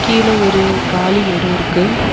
கீழ ஒரு காலி எடோ இருக்கு.